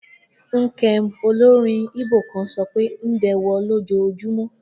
Nkem, olórin Igbo kan, sọ pé Ndewo lójoojúmọ́.